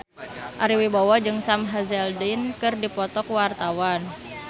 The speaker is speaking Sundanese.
Ari Wibowo jeung Sam Hazeldine keur dipoto ku wartawan